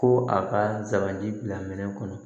Ko a ka sagaji bila minɛ kɔnɔ